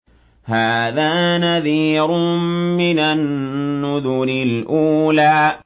هَٰذَا نَذِيرٌ مِّنَ النُّذُرِ الْأُولَىٰ